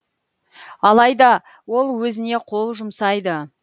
алайда ол өзіне қол жұмсайды